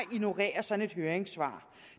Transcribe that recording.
ignorerer sådan et høringssvar